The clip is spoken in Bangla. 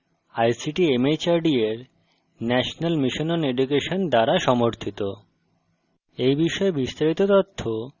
এটি ভারত সরকারের ict mhrd এর national mission on education দ্বারা সমর্থিত